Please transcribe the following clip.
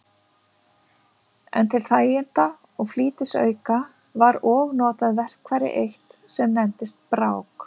En til þæginda og flýtisauka var og notað verkfæri eitt, sem nefndist brák.